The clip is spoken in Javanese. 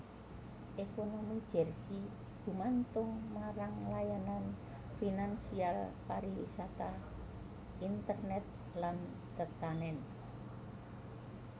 Ekonomi Jersey gumantung marang layanan finansial pariwisata internet lan tetanèn